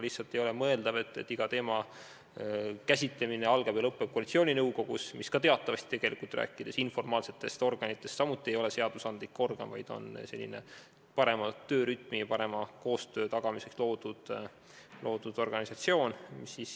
Lihtsalt ei ole mõeldav, et iga teema käsitlemine algab ja lõpeb koalitsiooninõukogus, mis teatavasti – ma räägin informaalsetest organitest – samuti ei ole seadusandlik organ, vaid on selline parema töörütmi ja parema koostöö tagamiseks loodud ühendus.